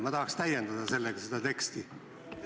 Ma tahaks sellega seda teksti täiendada.